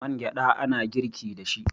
man gyada ana girki da shi